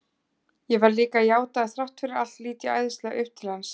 Ég verð líka að játa að þrátt fyrir allt lít ég æðislega upp til hans.